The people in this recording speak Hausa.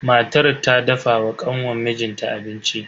Matar ta dafa wa kanwan mijin ta abinci.